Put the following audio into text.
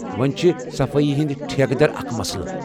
وٕنۍ چھِ صفٲیی ہٕنٛدۍ ٹھیکہٕ در اکھ مسلہٕ۔